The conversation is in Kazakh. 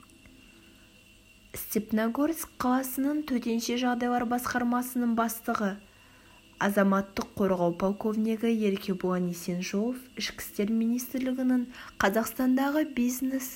степногорск қаласының төтенше жағдайлар басқармасының бастығы азаматтық қорғау полковнигі еркебұлан есенжолов ішкі істер министрлігінің қазақстандағы бизнес